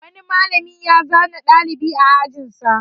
Malam ya zane ɗalibi a ajin sa.